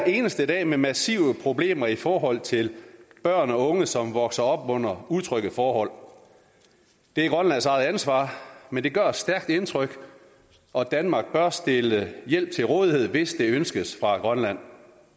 eneste dag med massive problemer i forhold til børn og unge som vokser op under utrygge forhold det er grønlands eget ansvar men det gør et stærkt indtryk og danmark bør stille hjælp til rådighed hvis det ønskes fra grønland